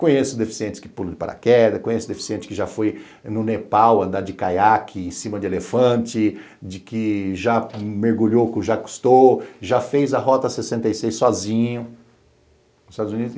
Conheço deficientes que pulam de paraquedas, conheço deficiente que já foi no Nepal andar de caiaque em cima de elefante, de que já mergulhou com o Jacques Cousteau, já fez a Rota sessenta e seis sozinho nos Estados Unidos.